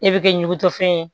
E bɛ kɛ ɲugutɔfɛn ye